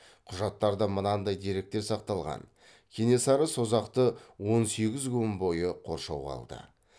құжаттарда мынандай деректер сақталған кенесары созақты он сегіз күн бойы қоршауға алды